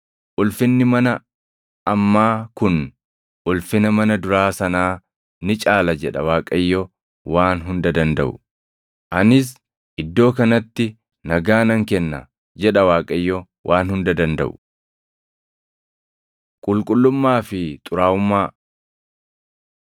‘Ulfinni mana ammaa kun ulfina mana duraa sanaa ni caala’ jedha Waaqayyo Waan Hunda Dandaʼu. ‘Anis iddoo kanatti nagaa nan kenna’ jedha Waaqayyo Waan Hunda Dandaʼu.” Qulqullummaa fi Xuraaʼummaa